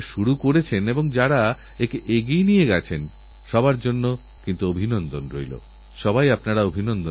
এধরনের মোহ থেকে দূরে থাকতে হবে সজাগ থাকতে হবে আর এরকম কোনও মিথ্যে মেসেজ এলেনিজেদের বন্ধুবান্ধবদের সঙ্গে তা শেয়ার করে তাঁদেরও সতর্ক করে দিতে হবে